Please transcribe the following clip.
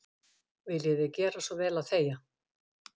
Viljiði gera svo vel að þegja.